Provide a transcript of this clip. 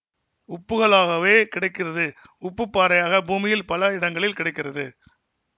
உப்புக்களாகவே கிடைக்கிறது உப்புப் பாறையாகப் பூமியில் பல இடங்களில் கிடைக்கிறது